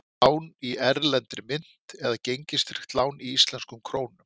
Lán í erlendri mynt eða gengistryggt lán í íslenskum krónum?